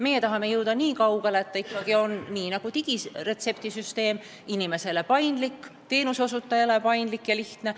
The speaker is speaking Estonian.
Me tahame jõuda niikaugele, et seegi on nagu digiretseptisüsteem nii teenuse kasutaja kui ka teenuse osutaja seisukohast paindlik ja lihtne.